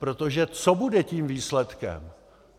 Protože co bude tím výsledkem?